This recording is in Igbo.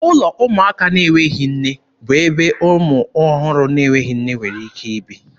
Ụlọ ụmụaka na-enweghị nne bụ ebe ụmụ ọhụrụ na-enweghị nne nwere ike ibi.